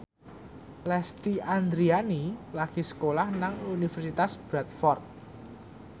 Lesti Andryani lagi sekolah nang Universitas Bradford